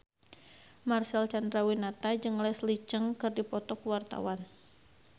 Marcel Chandrawinata jeung Leslie Cheung keur dipoto ku wartawan